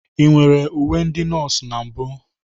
Ị nwere uwe ndị nọọsụ na mbụ?